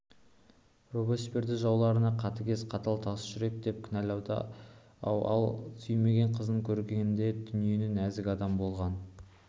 робеспьерді жаулары қатыгез қатал тасжүрек деп кінәлады-ау ал ол сүйген қызын көргенде дүниедегі нәзік адам болған